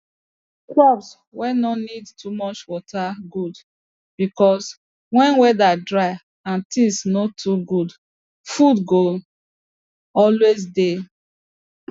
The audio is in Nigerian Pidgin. crops wey no dey need too much water good because when weather dry and things no too good food go always dey